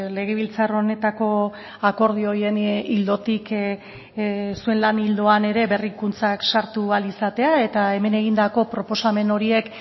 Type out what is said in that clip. legebiltzar honetako akordio horien ildotik zuen lan ildoan ere berrikuntzak sartu ahal izatea eta hemen egindako proposamen horiek